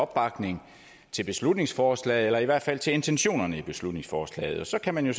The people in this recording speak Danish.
opbakning til beslutningsforslaget eller i hvert fald til intentionerne i beslutningsforslaget og så kan man jo